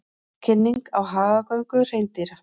Kynning á hagagöngu hreindýra